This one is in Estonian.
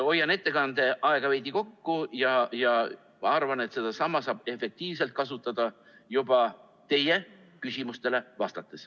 Hoian ettekande aega veidi kokku, sest arvan, et seda saab efektiivselt kasutada juba teie küsimustele vastates.